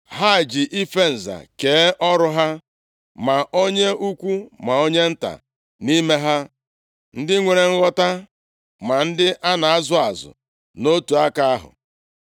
Ha ji ife nza kee ọrụ ha, ma onye ukwu ma onye nta nʼime ha, ndị nwere nghọta ma ndị a na-azụ azụ, nʼotu aka ahụ.